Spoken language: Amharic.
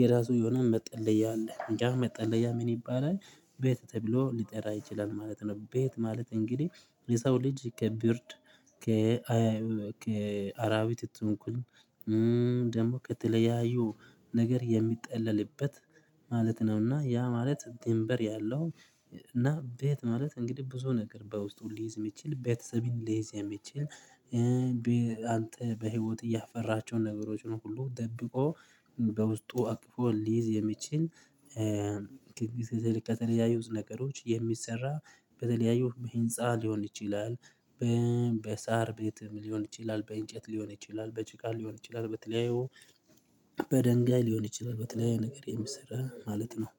የራሱ የሆነውን መጠለያ አለ ያ መጠለያ ምን ይባላል? ቤት ተብሎ ሊጠራ ይችላል ማለት ነው። ቤት ማለት እንግዲህ የሰው ልጅ ከብርድ ከ ከአራዊት ትንኩሳ ደግሞ ከተለያዩ ነገር የሚጠለልበት ማለት ነውና። ያ ማለት ድንበር ያለው እና ቤት ማለት እንግዲህ ብዙ ነገር በውስጡ ሊይዝ የሚችል ቤተሰብን ሊይዝ የሚችል። አንተ በህይወት ያፈራሀቸውን ነገሮችን ሁሉ ደብቆ በውስጡ አቅፎ ሊይዝ የሚችል በተለይ ከተለያዩ ነገሮች የሚሰራ በተለያዩ በህንፃ ሊሆን ይችላል። በሳር ቤትም ሊሆን ይችላል በእንጨት ሊሆን ይችላል በጭቃ ሊሆን ይችላል በተለያዩ በድንጋይ ሊሆን ይችላል በተለያየ ነገር የምሰራ ማለት ነው